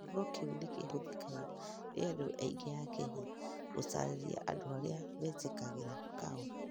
Kiugo kĩu nĩ kĩhũthekaga nĩ andũ aingĩ a Kenya gũtaarĩria andũ arĩa metĩkagĩra kahora.